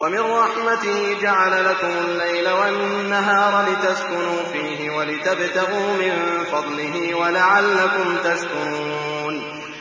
وَمِن رَّحْمَتِهِ جَعَلَ لَكُمُ اللَّيْلَ وَالنَّهَارَ لِتَسْكُنُوا فِيهِ وَلِتَبْتَغُوا مِن فَضْلِهِ وَلَعَلَّكُمْ تَشْكُرُونَ